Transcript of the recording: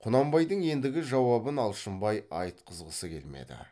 құнанбайдың ендігі жауабын алшынбай айтқызғысы келмеді